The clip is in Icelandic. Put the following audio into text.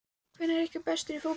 Hver ykkar er bestur í fótbolta?